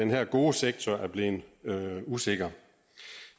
her gode sektor er blevet usikker